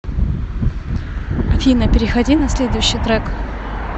афина переходи на следующий трек